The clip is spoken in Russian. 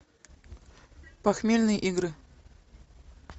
похмельные игры